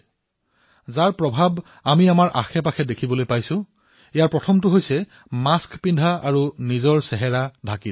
যি প্ৰভাৱ আমি ওচৰেপাজৰে দেখিবলৈ পাইছো সেইসমূহৰ ভিতৰত সবাতোকৈ প্ৰথমটো হল মাস্ক পিন্ধা আৰু নিজৰ মুখমণ্ডল ঢাকি ৰখা